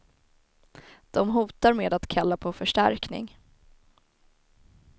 De hotar med att kalla på förstärkning.